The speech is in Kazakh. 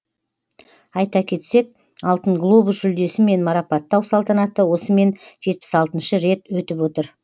айта кетсек алтын глобус жүлдесімен марапаттау салтанаты осымен жетпіс алтыншы рет өтіп отыр